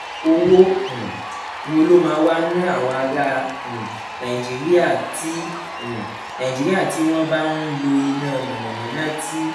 owó um wo ló máa ná àwọn ará um nàìjíríà tí um nàìjíríà tí wọ́n bá ń lo iná mànàmáná tí